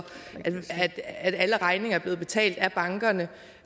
at alle regninger er blevet betalt af bankerne